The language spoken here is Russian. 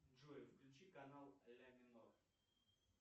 джой включи канал ля минор